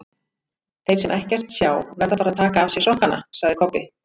Þeir sem ekkert sjá verða bara að taka af sér sokkana, sagði Kobbi.